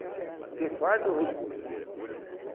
Porque falta o recurso.